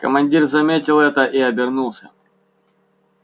командир заметил это и обернулся